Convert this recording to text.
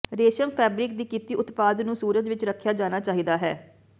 ਰੇਸ਼ਮ fabric ਦੀ ਕੀਤੀ ਉਤਪਾਦ ਨੂੰ ਸੂਰਜ ਵਿੱਚ ਰੱਖਿਆ ਜਾਣਾ ਚਾਹੀਦਾ ਹੈ